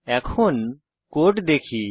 এখন কোড দেখি